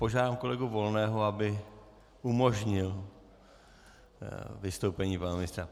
Požádám kolegu Volného, aby umožnil vystoupení pana ministra.